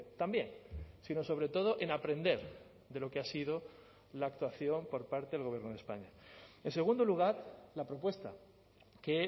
también sino sobre todo en aprender de lo que ha sido la actuación por parte del gobierno de españa en segundo lugar la propuesta que